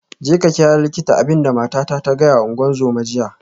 Jeka ka kira likita, abin da matata ta gaya wa ungozoma jiya